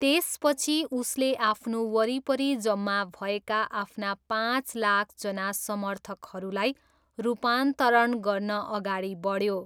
त्यसपछि उसले आफ्नो वरिपरि जम्मा भएका आफ्ना पाँच लाखजना समर्थकहरूलाई रूपान्तरण गर्न अगाडि बढ्यो।